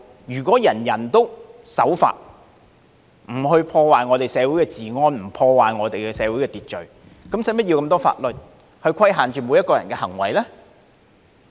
如果人人都守法，不去破壞社會治安，不去破壞社會秩序，便無須這麼多法律去規限每個人的行為。